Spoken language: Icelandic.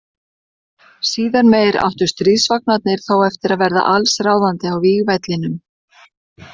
Síðar meir áttu stríðsvagnarnir þó eftir að verða alls ráðandi á vígvellinum.